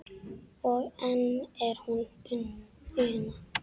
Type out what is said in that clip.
og enn er hún Una